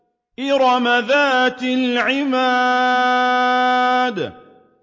إِرَمَ ذَاتِ الْعِمَادِ